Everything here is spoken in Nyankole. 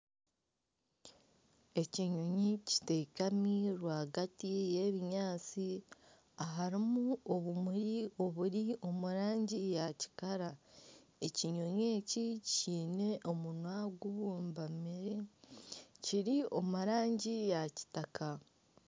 Ekinyonyi kiteekami rwagati y'ebinyaatsi aharimu obumuri oburi omu rangi ya kikara. Ekinyonyi eki kiine omunwa gubumbamire kiri omu rangi ya kitaka.